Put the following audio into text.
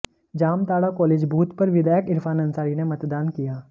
Jamtara college booth पर विधायक इरफान अंसारी ने मतदान किया